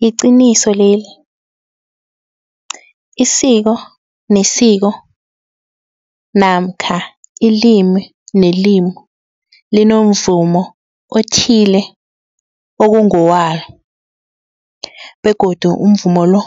Liqiniso leli isiko nesiko namkha ilimi nelimi linomvumo othile okungowalo begodu umvumo lo